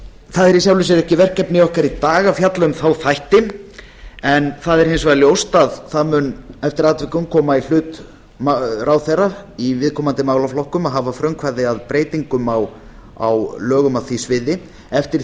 það er í sjálfu sér ekki verkefni okkar í dag að fjalla um þá þætti en það er hins vegar ljóst að það mun eftir atvikum koma í hlut ráðherra í viðkomandi málaflokkum að hafa frumkvæði að breytingum á lögum á því sviði eftir